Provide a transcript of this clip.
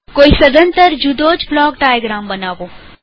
કોઈ સદંતર જુદોજ બ્લોક ડાયાગ્રામ બનાવો